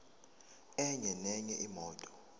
enye nenye imoto